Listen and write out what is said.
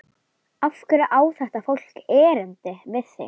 Af hverju á þetta fólk erindi við þig?